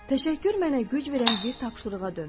Təşəkkür mənə güc verən bir tapşırığa döndü.